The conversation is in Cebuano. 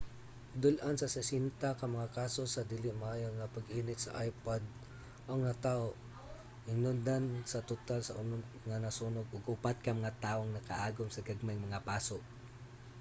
dul-an sa 60 ka mga kaso sa dili maayo nga pag-init sa ipod ang nataho hinungdan sa total sa unom nga sunog ug upat ka mga tawo ang makaagom og gagmayng mga paso